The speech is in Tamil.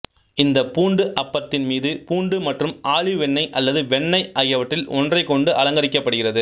இந்தப் பூண்டு அப்பத்தின் மீது பூண்டு மற்றும் ஆலிவ் எண்ணெய் அல்லது வெண்ணெய் ஆகியவற்றில் ஒன்றைக் கொண்டு அலங்கரிக்கப்படுகிறது